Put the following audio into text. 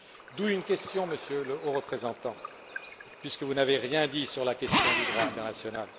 D'où une question, Monsieur le Haut représentant, puisque vous n'avez rien dit au sujet du droit international.